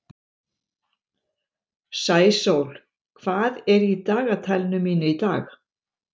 Sæsól, hvað er í dagatalinu mínu í dag?